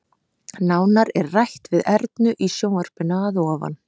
Nánar er rætt við Ernu í sjónvarpinu að ofan.